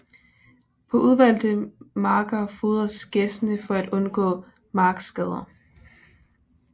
På udvalgte marker fodres gæssene for at undgå markskader